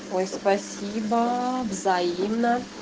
ой спасибо взаимно